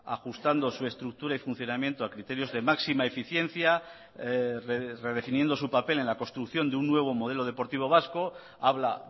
ajustando su estructura y funcionamiento a criterios de máxima eficiencia redefiniendo su papel en la construcción de un nuevo modelo deportivo vasco habla